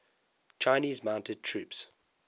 chinese mounted troops